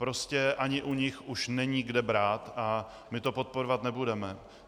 Prostě ani u nich už není kde brát a my to podporovat nebudeme.